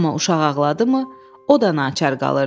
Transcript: Amma uşaq ağladı mı, o da naçar qalırdı.